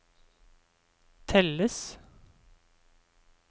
telles